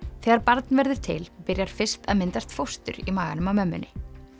þegar barn verður til byrjar fyrst að myndast fóstur í maganum á mömmunni